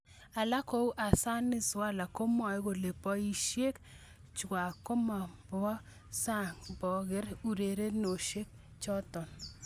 Alak kou Hassanati Swaleh komwae kole boishek chwak mamonfo sang pkoker urerenosiek choto.